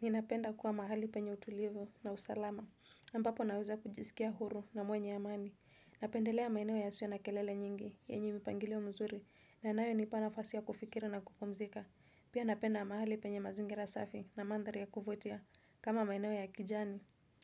Ninapenda kuwa mahali penye utulivu na usalama, ambapo naweza kujisikia huru na mwenye ya amani, napendelea maeneo we ya sio na kelele nyingi, yenye mipangilio mzuri, na nayo ni panafasi ya kufikiri na kupumzika. Pia napenda mahali penye mazingira safi na mandhari ya kuvutia, kama maeneo ya kijani.